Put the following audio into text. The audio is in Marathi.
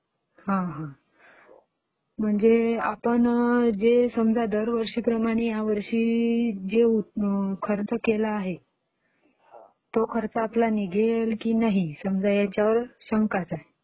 हां हां